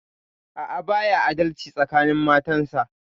A'a, baya adalci tsakanin matansa.